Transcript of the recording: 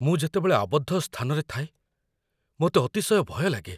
ମୁଁ ଯେତେବେଳେ ଆବଦ୍ଧ ସ୍ଥାନରେ ଥାଏ, ମୋତେ ଅତିଶୟ ଭୟ ଲାଗେ।